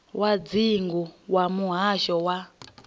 wa dzingu wa muhasho wa